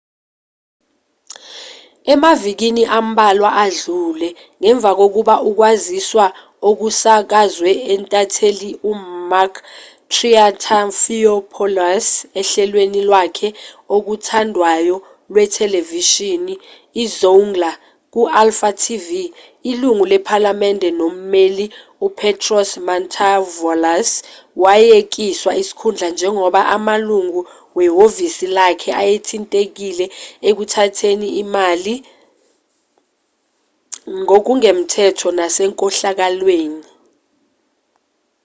emavikini ambalwa adlule ngemva kokuba ukwaziswa okusakazwe intatheli umakis triantafylopoulos ohlelweni lwakhe okuthandwayo lwethelevishini izoungla ku-alfa tv ilungu lephalamende nommeli upetros mantouvalos wayekiswa isikhundla njengoba amalungu wehhovisi lakhe ayethintekile ekuthatheni imali ngokungemthetho nasenkohlakalweni